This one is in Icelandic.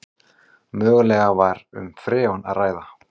Mögulega var um freon að ræða